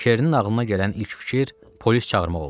Kerinin ağlına gələn ilk fikir polis çağırmaq oldu.